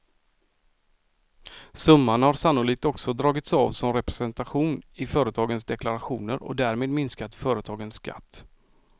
Summan har sannolikt också dragits av som representation i företagens deklarationer och därmed minskat företagens skatt.